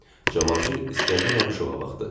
Cavanşir İskəndər Abuşova baxdı.